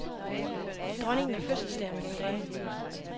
Dronningen har fødselsdag om et par dage.